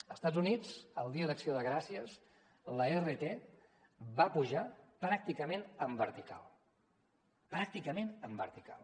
a estats units el dia d’acció de gràcies l’rt va pujar pràcticament en vertical pràcticament en vertical